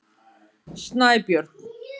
Snæbjörn